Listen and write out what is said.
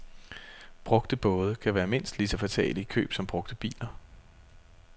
Brugte både kan være mindst lige så fatale i køb som brugte biler.